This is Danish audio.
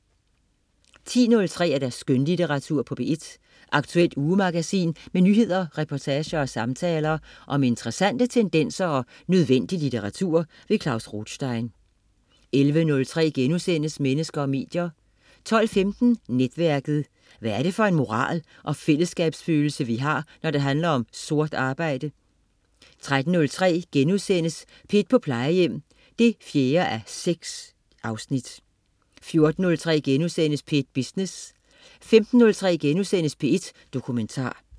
10.03 Skønlitteratur på P1. Aktuelt ugemagasin med nyheder, reportager og samtaler om interessante tendenser og nødvendig litteratur. Klaus Rothstein 11.03 Mennesker og medier* 12.15 Netværket. Hvad er det for en moral og fællesskabsfølelse vi har, når det handler om sort arbejde? 13.03 P1 på Plejehjem 4:6* 14.03 P1 Business* 15.03 P1 Dokumentar*